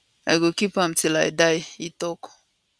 i go keep am till i die e tok